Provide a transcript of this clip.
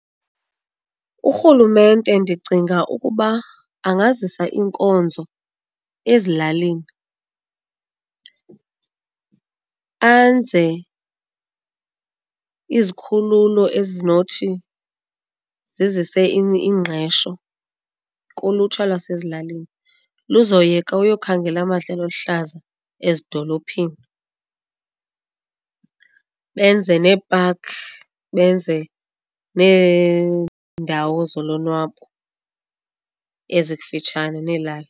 Urhulumente ndicinga ukuba angazisa iinkonzo ezilalini, anze izikhululo ezinothi zizise ingqesho kulutsha lwasezilalini luzoyeka uyokhangela amadlelo aluhlaza ezidolophini benze nee-park, benze neendawo zolonwabo ezikufutshane neelali.